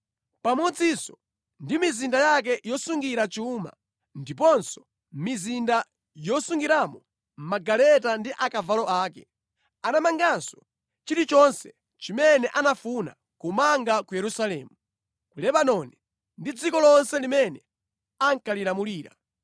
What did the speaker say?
pamodzinso ndi mizinda yake yosungira chuma ndiponso mizinda yosungiramo magaleta ndi akavalo ake. Anamanganso chilichonse chimene anafuna kumanga ku Yerusalemu, ku Lebanoni ndi ku madera onse amene iye ankalamulira.